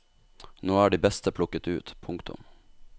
Nå er de beste plukket ut. punktum